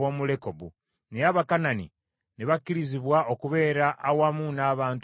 naye Abakanani ne bakkirizibwa okubeera awamu n’abantu ba Aseri.